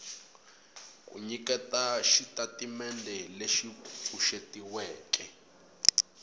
ku nyiketa xitatimendhe lexi pfuxetiweke